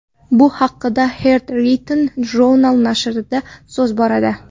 Bu haqda Hearth Rhythm Jounal nashrida so‘z boradi .